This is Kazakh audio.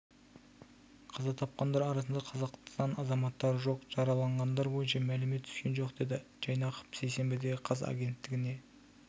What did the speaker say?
қаза тапқандар арасында қазақстан азаматтары жоқ жараланғандар бойынша мәлімет түскен жоқ деді жайнақов сейсенбіде қаз агенттігіне